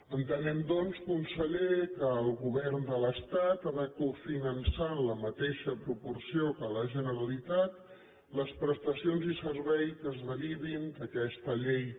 entenem doncs conseller que el govern de l’estat ha de cofinançar en la mateixa proporció que la generalitat les prestacions i serveis que es derivin d’aquesta llei